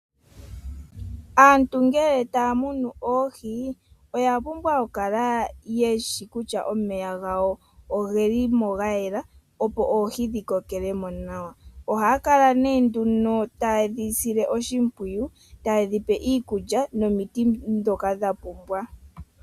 Aantu ngele taya munu oohi oya pumbwa oku kala yeshi lutya omeya gawo ogeli mo ga yela, opo oohi dhi kokele mo nawa. Ohaya kala nee nduno ta yedhi sile oshimpwiyu, ta yedhi pe iikulya nomiti ndhoka dha pumbwa.